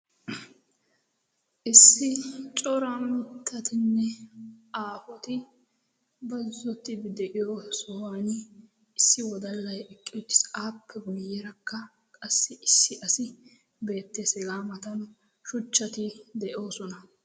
issi cora mittatinne aafuti bazzottii de'iyo sohuwan issi wodallay eqqe uttiis appe guyyerakka qassi issi asi beette segaa matanu shuchchati de'oosona